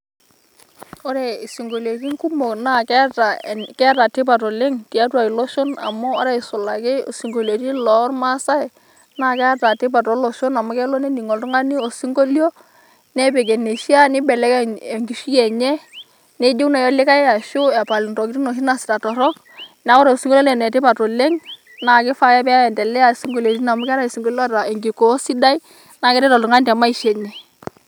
Ore esinkolitin kumok naa keeta tipat oleng' tiatua iloshon amu ore aisul ake esinkolitin lormasae naa keeta tipat toloshon amu kelo nening' oltung'ani osinkolio nepiki eneishaa neibelekeny' enkishui enye nejeu naaji likae ashu epal entokitin' naaji naasitae torrok, neeku ore osinkolio naa Ole tipat oleng' naa keifaa ake pee aendelea esinkolitin amu keetae esinkolitin loota enkikoo sidai naa keret oltung'ani teMaisha enye.